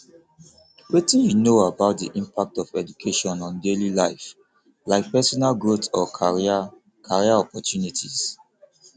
wetin you know about di impact of education on daily life like personal growth or career career opportunities